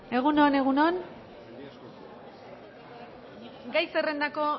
egun on egun on gai zerrendako